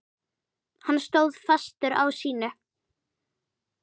Hann stóð fastur á sínu.